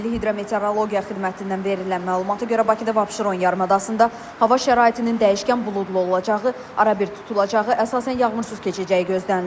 Milli hidrometeorologiya xidmətindən verilən məlumata görə Bakıda və Abşeron yarımadasında hava şəraitinin dəyişkən buludlu olacağı, arabir tutulacağı, əsasən yağmursuz keçəcəyi gözlənilir.